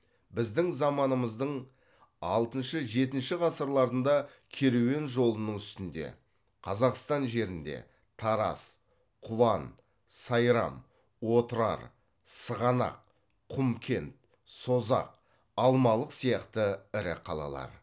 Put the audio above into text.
біздің заманымыздың алтыншы ежтінші ғасырларында керуен жолының үстінде қазақстан жерінде тараз құлан сайрам отырар сығанақ құмкент созақ алмалық сияқты ірі қалалар